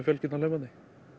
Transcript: fjölskyldan hlaupandi